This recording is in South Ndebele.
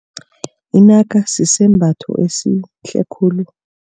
Inaka sisembamba esihle khulu.